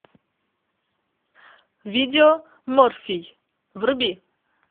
видео морфий вруби